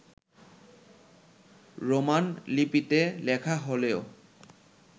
Roman লিপিতে লেখা হলেও